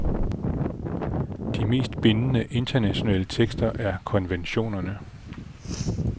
De mest bindende internationale tekster er konventionerne.